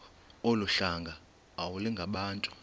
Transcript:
olu hlanga iwalungabantu